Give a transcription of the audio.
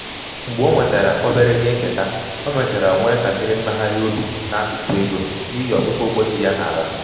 mgbe o nwetara obere ihe nketa o mechara nwee ntakịrị mmegharị obi n’akụkụ ego um n’ihi ọtụtụ ụgwọ ji ya ji ya um n’ala